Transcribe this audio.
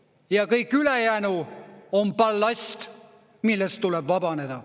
Ja kõik ülejäänu on ballast, millest tuleb vabaneda.